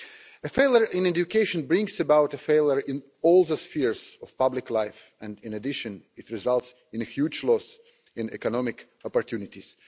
A failure in education brings about a failure in all spheres of public life, and in addition it results in a huge loss in economic opportunities.